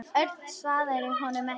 Örn svaraði honum ekki.